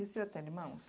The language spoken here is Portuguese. E o senhor tem irmãos?